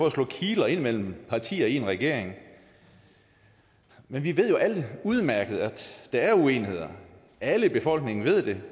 at slå kiler ind mellem partier i en regering men vi ved jo alle udmærket at der er uenigheder alle i befolkningen ved det